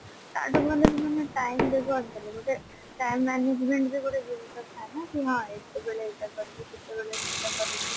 ତା ଠୁ ଭଲ ତ ତମେ time ରେ କରିଦେଲେ ଗୋଟେ time management ବି ଗୋଟେ ଜିନିଷ ଥାଏ ନା କି ହଁ ଏତେବେଳେ ଏଇଟା କରିବି ସେତେବେଳେ ସେଇଟା କରିବି